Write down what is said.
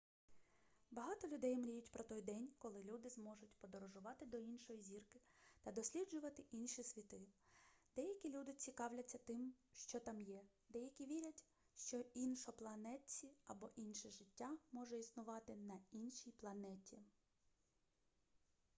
багато людей мріють про той день коли люди зможуть подорожувати до іншої зірки та досліджувати інші світи деякі люди цікавляться тим що там є деякі вірять що іншопланетці або інше життя може існувати на іншій планеті